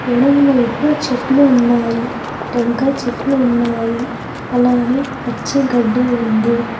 ఎడంవైవు చెట్లు ఉన్నాయి టెంకాయ్ చెట్లు ఉన్నాయి అలానే పచ్చి గడ్డి ఉంది.